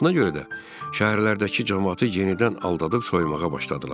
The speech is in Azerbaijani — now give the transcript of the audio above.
Buna görə də şəhərlərdəki camaatı yenidən aldadıb soymağa başladılar.